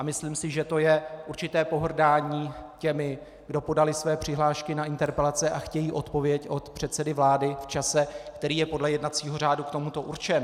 A myslím si, že to je určité pohrdání těmi, kdo podali své přihlášky na interpelace a chtějí odpověď od předsedy vlády v čase, který je podle jednacího řádu k tomu určen.